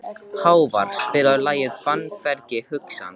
Hávarr, spilaðu lagið „Fannfergi hugans“.